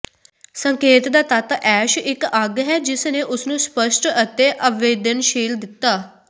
ਸੰਕੇਤ ਦਾ ਤੱਤ ਐਸ਼ ਇੱਕ ਅੱਗ ਹੈ ਜਿਸ ਨੇ ਉਸਨੂੰ ਸਪੱਸ਼ਟ ਅਤੇ ਆਵੇਦਨਸ਼ੀਲ ਦਿੱਤਾ